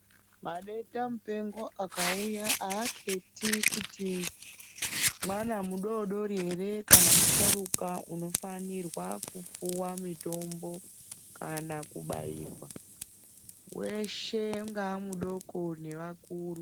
Madenda mupengo akauya aketi kuti mwana mudodori ere kana musharukwa unofanirwa kupuwa mutombo kana kubaiwa weshe ungave mudoko ngevakuru.